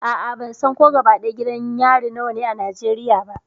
A'a, ban san ko gidan yari nawa ne a Najeriya ba.